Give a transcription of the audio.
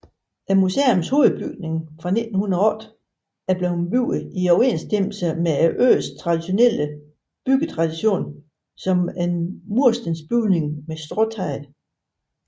Museets hovedbygning er fra 1908 og blev bygget i overensstemmelse med øens traditionelle byggetradition som murstensbygning med stråtag